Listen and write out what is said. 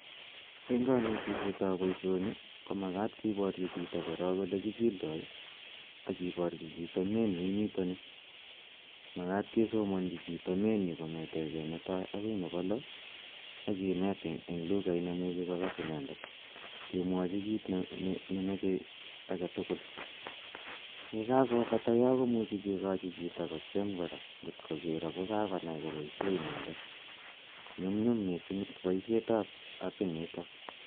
Eng' kanetishet ap poishoni ko makat kiparchi chito korok ole kichildai ak kiparchi chito menu initani. Makat kesomanchi chito menu initani kong'etegei ne tai akoi nepa lo ak kinet eng' lughait ne imuchi kolas inendet kemwachi kit ne mache age tugul. Ye kakopata yo ko muchi kikachi chito kotiem kora ngot ko kiro ngo kakonai kopoishe inedet. Nyumnyum missing' poishet ap apit nitok